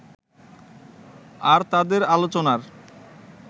আর তাদের আলোচনার